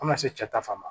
An ka seta fan ma